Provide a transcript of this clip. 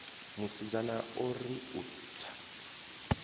musidzana o ri u tsa